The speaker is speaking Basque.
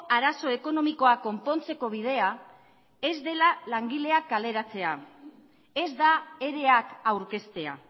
arazo ekonomikoa konpontzeko bidea ez dela langileak kaleratzea ez da ere ak aurkeztea